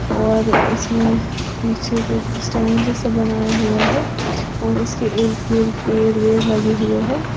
और इसमें पीछे कुछ स्टैंड जैसा बनाया हुआ है और इसके इर्द गिर्द पेड़ भी लगे हुए हैं।